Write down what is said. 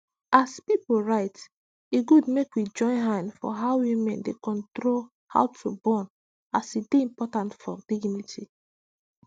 as pipu right e go good make we join hand for how women dey control how to born as e dy important for dignity